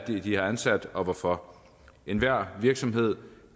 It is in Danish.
de har ansat og hvorfor enhver virksomhed